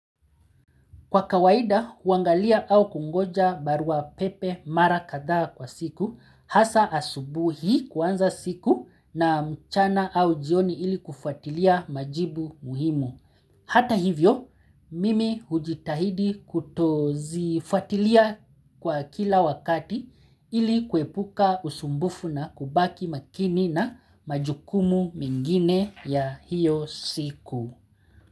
Kwa kawaida, huangalia au kungoja barua pepe mara kadhaa kwa siku, hasa asubuhi kuanza siku na mchana au jioni ili kufuatilia majibu muhimu. Hata hivyo, mimi hujitahidi kutozifuatilia kwa kila wakati ili kwepuka usumbufu na kubaki makini na majukumu mengine ya hiyo siku.